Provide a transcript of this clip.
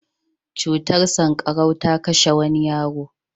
Cutar sanƙarau ta kashe wani yaro.